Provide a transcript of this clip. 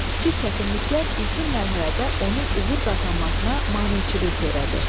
Kiçik çətinliklər ilkin mərhələdə onun uğur qazanmasına maneçilik törədir.